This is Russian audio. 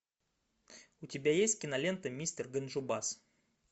у тебя есть кинолента мистер ганджубас